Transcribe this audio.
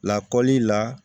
Lakɔli la